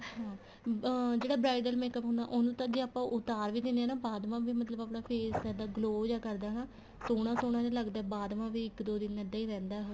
ਹਾਂ ਅਹ ਜਿਹੜਾ bridal makeup ਹੁੰਦਾ ਉਹਨੂੰ ਤਾਂ ਜ਼ੇ ਆਪਾਂ ਉਤਾਰ ਵੀ ਦੇਣੇ ਆ ਬਾਅਦ ਵਾ ਵੀ ਮਤਲਬ ਆਪਣਾ face ਇੱਦਾਂ glow ਜਾ ਕਰਦਾ ਸੋਹਣਾ ਸੋਹਣਾ ਜਾ ਲੱਗਦਾ ਬਾਅਦ ਮਾ ਵੀ ਇੱਕ ਦੋ ਦਿਨ ਇੱਦਾਂ ਹੀ ਰਹਿੰਦਾ ਉਹ